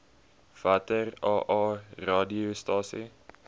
watter aa radiostasies